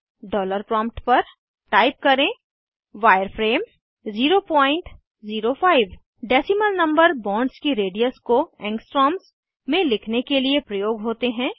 dollar prompt पर type करें wireframe 005 decimal number bonds की रेडियस को एंगस्ट्रॉम्स में लिखने के लिए प्रयोग होते हैं